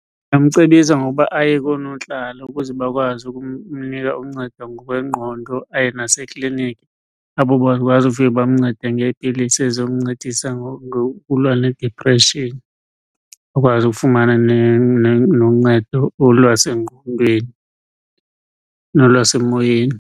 Ndingamcebisa ngokuba aye koonontlalo ukuze bakwazi ukumnika uncedo ngokwengqondo, aye nasekliniki apho bazofike bamncede ngeepilisi ezizomncedisa ngokulwa nedipreshini. Akwazi ukufumana noncedo olwasengqondweni nolwasemoyeni.